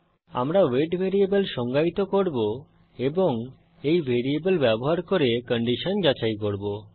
আমরা weight variable সংজ্ঞায়িত করব এবং এই ভ্যারিয়েবল ব্যবহার করে কন্ডিশন যাচাই করব